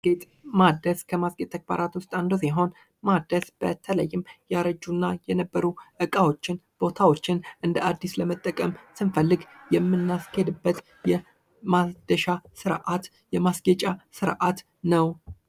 ጌጥ ማደስ ከማስጌጥ ተግባራት ዉስጥ አንዱ ሲሆን ማደስ በተለይም ያረጁ እና የነበሩ እቃዎችን ቦታዎችን እንደ አዲስ መጠቀም ስንፈልግ የማስኬድበት የማደሻ ስርዓት የማስጌጫ ስርዓት ነዉ።